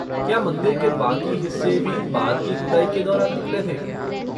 क्या मंदिर के बाकी हिस्से भी बाद की खुदाई के दौरान निकले थे?